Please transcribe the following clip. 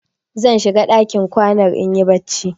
Zan shiga ɗakin kwanar in yi barci.